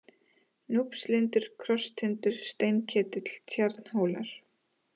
Núpstindur, Krosstindur, Steinketill, Tjarnhólar